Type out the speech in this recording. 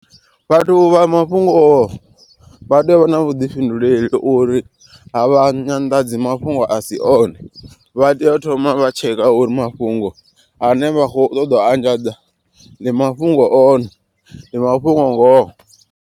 Vhathu vha mafhungo vha tea u vha na vhuḓifhinduleli uri a vha nyanḓadzi mafhungo asi one. Vha tea u thoma vha tsheka uri mafhungo ane vha kho ṱoḓa u anḓadza ndi mafhungo o ne ndi mafhungo ngoho.